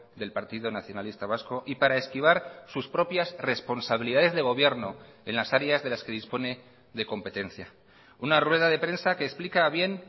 del partido nacionalista vasco y para esquivar sus propias responsabilidades de gobierno en las áreas de las que dispone de competencia una rueda de prensa que explica bien